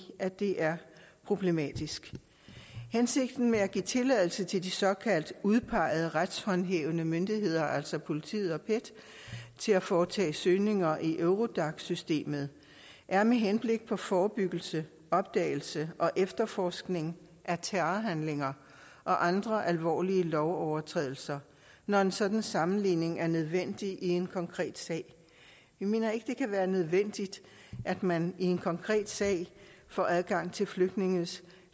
at det er problematisk hensigten med at give tilladelse til de såkaldt udpegede retshåndhævende myndigheder altså politiet og pet til at foretage søgninger i eurodac systemet er med henblik på forebyggelse opdagelse og efterforskning af terrorhandlinger og andre alvorlige lovovertrædelser når en sådan sammenligning er nødvendig i en konkret sag vi mener ikke det kan være nødvendigt at man i en konkret sag får adgang til flygtninges